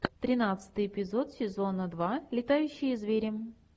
тринадцатый эпизод сезона два летающие звери